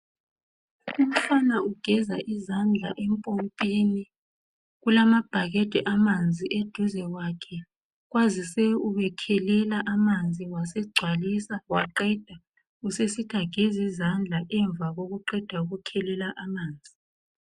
Umfana ugeza izandla empompini kulamabhakede amanzi eduze kwakhe kwazise ubekhelela amanzi wasegcwalisa waqeda usesithi ageze izandla emva kokuqeda ukukhelela amanzi